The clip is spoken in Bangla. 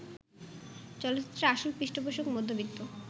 চলচ্চিত্রের আসল পৃষ্ঠপোষক মধ্যবিত্ত